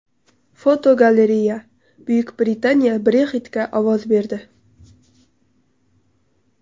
Fotogalereya: Buyuk Britaniya Brexit’ga ovoz berdi.